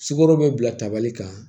Sukaro bɛ bila tabali kan